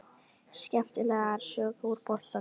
Skemmtilegar sögur úr boltanum?